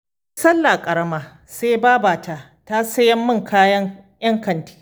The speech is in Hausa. Duk sallah karama sai babata ta saya min kaya 'yan kanti